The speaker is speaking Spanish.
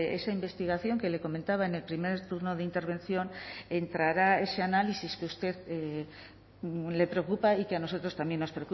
esa investigación que le comentaba en el primer turno de intervención entrará ese análisis que a usted le preocupa y que a nosotros también nos